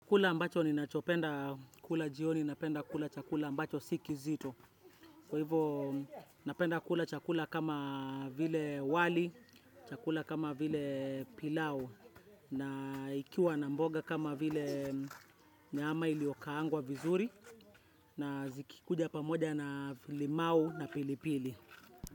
Kula ambacho ni nachopenda kula jioni, napenda kula chakula ambacho sikizito. Kwa hivyo, napenda kula chakula kama vile wali, chakula kama vile pilau, na ikiwa na mboga kama vile nyama iliokaangwa vizuri, na zikikuja pamoja na limau na pilipili.